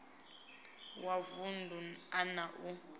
wa vunḓu a na u